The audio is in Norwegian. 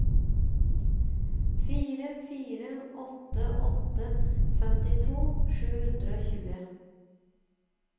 fire fire åtte åtte femtito sju hundre og tjue